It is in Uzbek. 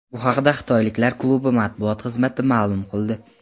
Bu haqda xitoyliklar klubi matbuot xizmati ma’lum qildi .